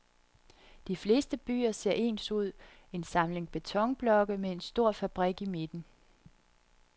De fleste byer ser ens ud, en samling betonblokke med en stor fabrik i midten.